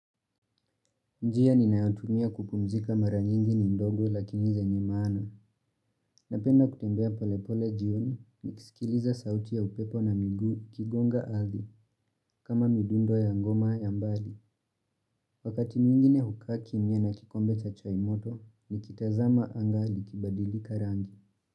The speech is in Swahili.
Njia ninayotumia kupumzika mara nyingi ni ndogo lakini zenye maana. Napenda kutembea pole pole jioni nikisikiliza sauti ya upepo na miguu ikigonga ardhi kama midundo ya ngoma ya mbali. Wakati mwigine hukaa kimya na kikombe cha chai moto nikitazama anga likibadilika rangi.